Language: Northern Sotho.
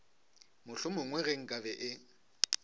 mohlomongwe ge nka be e